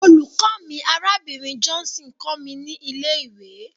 Olùkọ́ mi, Arábìnrin Johnson, kọ́ mi ní ilé-ìwé.